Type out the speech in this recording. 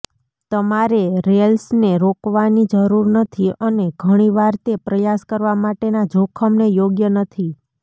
તમારે રૅલ્સને રોકવાની જરૂર નથી અને ઘણી વાર તે પ્રયાસ કરવા માટેના જોખમને યોગ્ય નથી